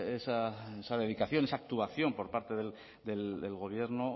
esa dedicación esa actuación por parte del gobierno